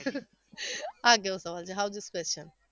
આ કેવો સવાલ છે how's this question